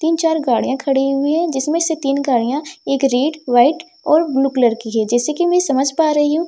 तीन चार गाड़ियां खड़ी हुई है जिसमें से तीन गाड़ियां एक रेड वाइट और ब्लू कलर की है जैसे कि मैं समझ पा रही हूं--